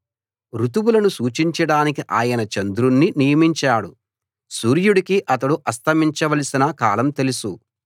ఋతువులను సూచించడానికి ఆయన చంద్రుణ్ణి నియమించాడు సూర్యుడికి అతడు అస్తమించవలసిన కాలం తెలుసు